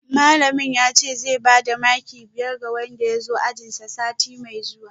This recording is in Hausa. Malamin yace zai bada maki biyar ga wanda ya zo ajinsa sati mai zuwa